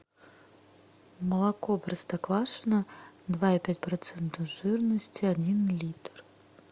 молоко простоквашино два и пять процента жирности один литр